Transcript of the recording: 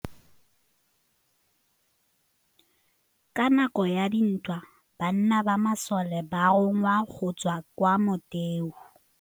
Ka nakô ya dintwa banna ba masole ba rongwa go tswa kwa mothêô.